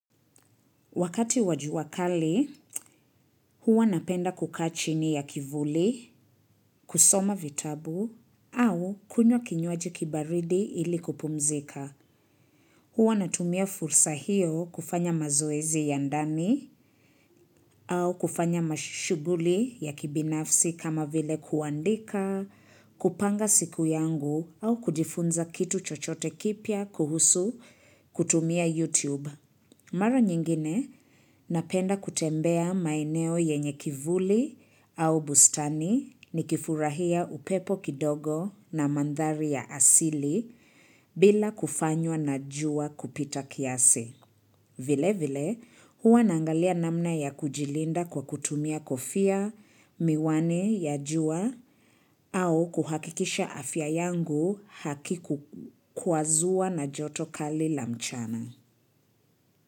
Wakati wa jua kali, huwa napenda kukaa chini ya kivuli, kusoma vitabu, au kunywa kinywaji kibaridi ili kupumzika. Huwa natumia fursa hiyo kufanya mazoezi ya ndani, au kufanya mashuguli ya kibinafsi kama vile kuandika, kupanga siku yangu, au kujifunza kitu chochote kipya kuhusu kutumia YouTube. Mara nyingine napenda kutembea maeneo yenye kivuli au bustani nikifurahia upepo kidogo na mandhari ya asili bila kufanywa na jua kupita kiasi. Vile vile huwa naangalia namna ya kujilinda kwa kutumia kofia, miwani ya jua au kuhakikisha afya yangu hakikukwazua na joto kali la mchana.